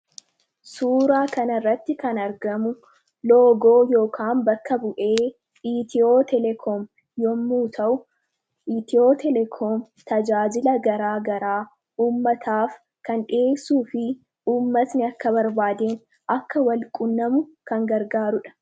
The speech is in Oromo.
suuraa kan irratti kan argamu loogoo ykn bakka bu'ee hitiyoo teleekoom yommuu ta'u iitiyoo teleekoom tajaajila garaa garaa ummataaf kan dhiheessuu fi ummatni akka barbaadeen akka wal qunnamu kan gargaaruudha.